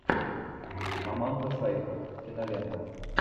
аманда сайфред кинолента